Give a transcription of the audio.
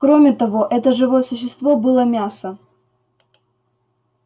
кроме того это живое существо было мясо